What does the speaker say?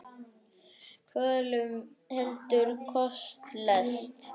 Kvölum veldur holdið lest.